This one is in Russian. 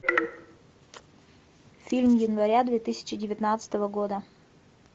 фильм января две тысячи девятнадцатого года